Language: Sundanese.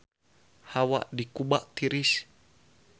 Hawa di Kuba tiris